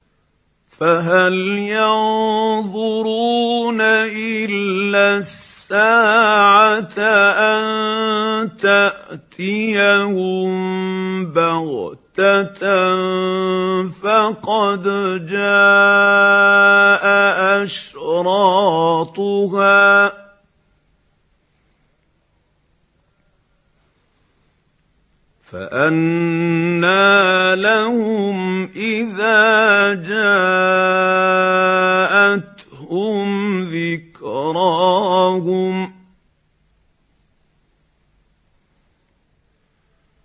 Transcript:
فَهَلْ يَنظُرُونَ إِلَّا السَّاعَةَ أَن تَأْتِيَهُم بَغْتَةً ۖ فَقَدْ جَاءَ أَشْرَاطُهَا ۚ فَأَنَّىٰ لَهُمْ إِذَا جَاءَتْهُمْ ذِكْرَاهُمْ